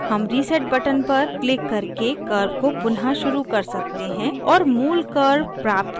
हम reset button पर click करके curve को पुनः शुरू कर सकते हैं और मूल curve प्राप्त कर सकते हैं